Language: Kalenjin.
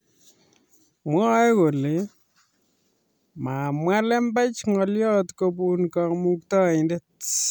Mwae kole mamwa lembech ngolyot kobun kamukataindet